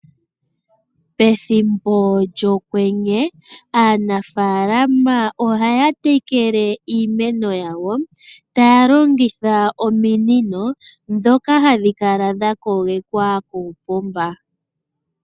Pethimbo lyokwenye, aanafaalama ohaya tekele iimeno yawo, taya longitha ominino, ndhoka hadhi kala dha kogekwa kuupomba.